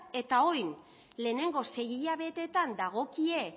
eta orain lehenengo sei hilabetetan dagokien